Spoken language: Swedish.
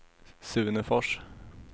Sune Fors